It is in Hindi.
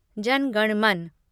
जन गण मन